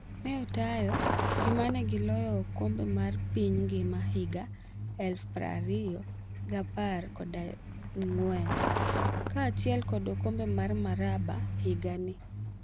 Ne otayo gi mane gi loyo okombe mar piny ngima higa 2014 kaachiel kod okombe mar Maraba higa ni.